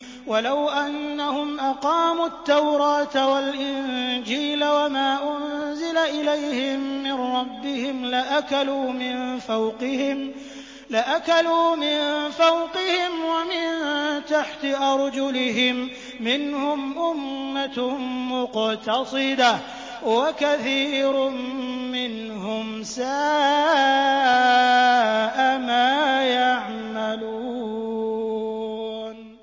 وَلَوْ أَنَّهُمْ أَقَامُوا التَّوْرَاةَ وَالْإِنجِيلَ وَمَا أُنزِلَ إِلَيْهِم مِّن رَّبِّهِمْ لَأَكَلُوا مِن فَوْقِهِمْ وَمِن تَحْتِ أَرْجُلِهِم ۚ مِّنْهُمْ أُمَّةٌ مُّقْتَصِدَةٌ ۖ وَكَثِيرٌ مِّنْهُمْ سَاءَ مَا يَعْمَلُونَ